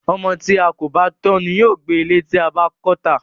Ọmọ tí a kò bá tọ́ ni yóò gbẹ ilé tí a bá kọ́ tà.